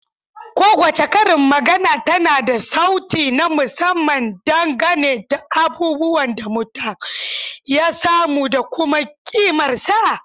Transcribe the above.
Kowace karin magana tana da sauti na musamman dangane da abubuwan da mutum ya samu da kuma kimarsa.